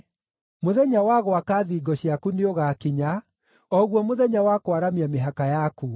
Mũthenya wa gwaka thingo ciaku nĩũgakinya, o guo mũthenya wa kwaramia mĩhaka yaku.